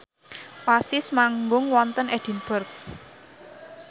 Oasis manggung wonten Edinburgh